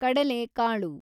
ಕಡಲೆೆಕಾಳು